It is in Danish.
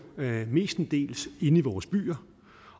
mestendels inde i vores byer